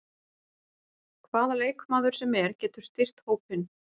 Hvaða leikmaður sem er getur styrkt hópinn.